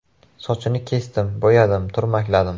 Sochini kesdim, bo‘yadim, turmakladim.